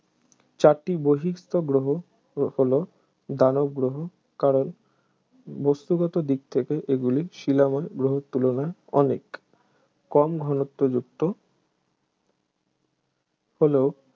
চারটি বহিঃস্থ গ্রহ হ~ হল দানব গ্রহ কারণ বস্তুগত দিক থেকে এগুলি শিলাময় গ্রহর তুলনায় অনেক কম ঘনত্বযুক্ত হল